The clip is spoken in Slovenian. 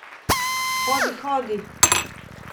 Hodi, hodi!